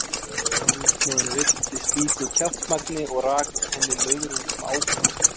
Húsmóðirin reiddist slíku kjaftamagni og rak henni löðrung sem ábót.